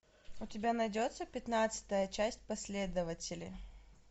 у тебя найдется пятнадцатая часть последователи